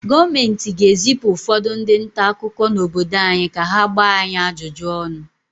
Gọọmenti ga-ezipụ ụfọdụ ndị nta akụkọ n’obodo anyị ka ha gbaa anyị ajụjụ ọnụ